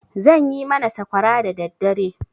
Zan yi mana sakwara dadaddare.